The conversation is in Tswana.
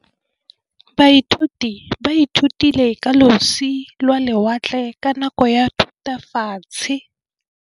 Baithuti ba ithutile ka losi lwa lewatle ka nako ya Thutafatshe.